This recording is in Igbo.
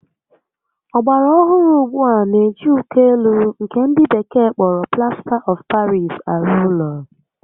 Ọgbara ohụrụ ugbua n'eji uko élú nkè ndị bekee kpọrọ Plasta of Paris arụ ụlọ